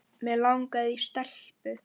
Mig langaði í stelpu.